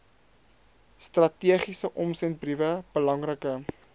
strategiese omsendbriewe belangrike